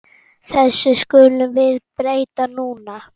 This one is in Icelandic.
Þessu skulum við breyta núna.